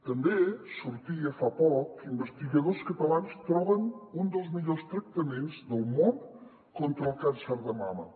també sortia fa poc que investigadors catalans troben un dels millors tractaments del món contra el càncer de mama